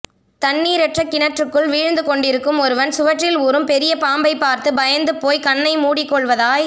தண்ணீரற்ற கிணற்றுக்குள் வீழ்ந்து கொண்டிருக்கும் ஒருவன் சுவற்றில் ஊறும் பெரிய பாம்பைப் பார்த்து பயந்து போய் கண்ணை மூடிக் கொள்வதாய்